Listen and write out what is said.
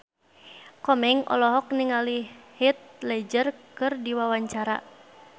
Komeng olohok ningali Heath Ledger keur diwawancara